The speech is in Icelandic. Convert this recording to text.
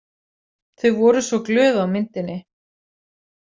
Þau voru svo glöð á myndinni.